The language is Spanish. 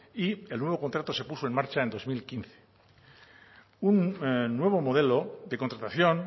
y el nuevo contrato se puso en marcha en dos mil quince un nuevo modelo de contratación